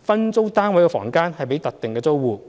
分租單位房間予特定租戶。